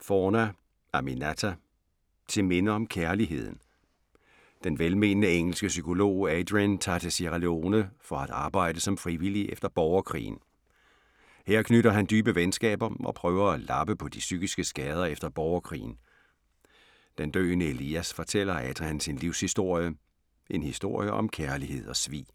Forna, Aminatta: Til minde om kærligheden Den velmenende engelske psykolog Adrian tager til Sierra Leone for at arbejde som frivillig efter borgerkrigen. Her knytter han dybe venskaber, og prøver at lappe på de psykiske skader efter borgerkrigen. Den døende Elias fortæller Adrian sin livshistorie. En historie om kærlighed og svig.